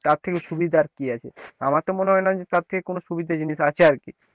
তার থেকে সুবিধা আর কি আছে আমার তো মনে হয় না যে তার থেকে কোনো সুবিধা জিনিস আছে আর কি।